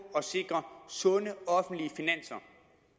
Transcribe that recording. at sikre sunde offentlige finanser